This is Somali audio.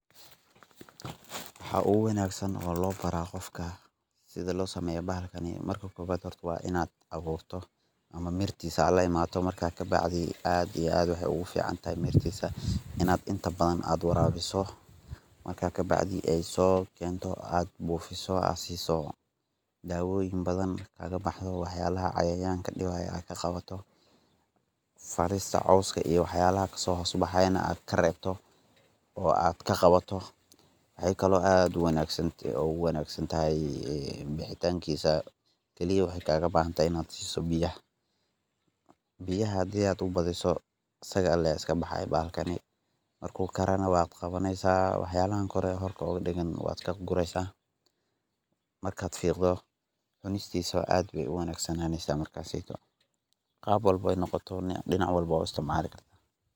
Waxa uguwanagsa oo lobara gofka sida losameyo bahalkani marka kowad hor wa inad awurto, ama mirtisa aad laimato marka kabacdi aad iyo aad waxay ogufican taxay marki inad inta badan aad warawiso, marka kabacdi ay kento ad bufiso, dawoyin badan kalabahayan iyo waxyala cayayanka , falista coska iyo waxyalaxas kasohos baxayan ad karebto, oo ad kagawato, waxay kalo aad uwanagsan oguwanagsanataxay in bihitankisa iyo wax ay kalabahantaxay inad siso biya, biyaha hadi aad ubadiso asaga iskabayaxa bahalkani, marku karanan wad gawaneysa waxyabahan kore ee korka ugadagan wad kagureysa, markad figdo cunistisa aad ayayu wanagsnanenya markas seytow, gaab walbo ay nogoto noc walbo wad uisticmali karta.